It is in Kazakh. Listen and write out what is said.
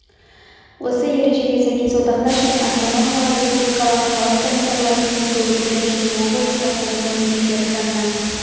осы ережеге сәйкес одақтас және автономиялы республикалар халық комиссарлар кеңесі өлкелік және облыстық атқару комитеттері жанынан